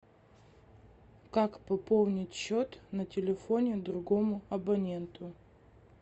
как пополнить счет на телефоне другому абоненту